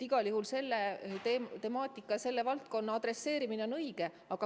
Igal juhul selle temaatika ja selle valdkonna adresseerimine on õige.